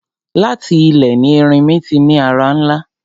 Láti ilẹ̀ ni erinmi ti ní ara ńlá.